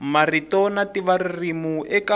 marito na ntivo ririmi eka